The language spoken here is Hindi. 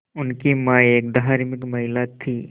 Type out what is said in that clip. उनकी मां एक धार्मिक महिला थीं